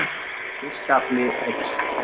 Fiskafli eykst